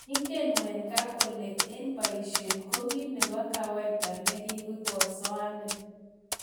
Ingen wenger kole eng poishet ko ki nebo kawaida ngikosoanin